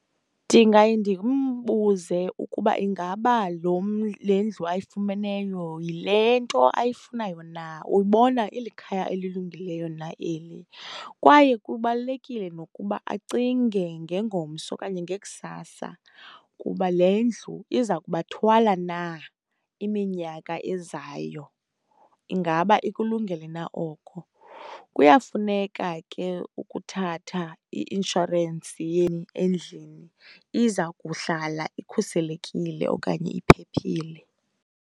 Ndingaye ndimbuze ukuba ingaba le ndlu ayifumeneyo yile nto ayifunayo na, ubona ilikhaya elilungileyo na eli. Kwaye kubalulekile nokuba acinge ngengomso okanye ngekusasa, kuba le ndlu iza kubathwala na iminyaka ezayo. Ingaba ikulungele na oko? Kuyafuneka ke ukuthatha i-inshorensi endlini, iza kuhlala ikhuselekile okanye iphephile.